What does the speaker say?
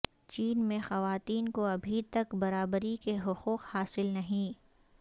چین میں خواتین کو ابھی تک برابری کے حقوق حاصل نہیں